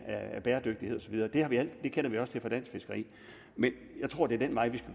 af bæredygtighed og så videre det det kender vi også til fra dansk fiskeri men jeg tror det er den vej vi